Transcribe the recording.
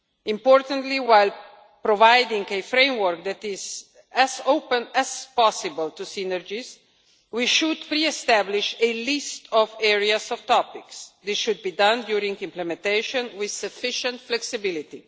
Importantly, while providing a framework that is as open as possible to synergies, we should re establish a list of areas of topics. This should be done during implementation with sufficient flexibility.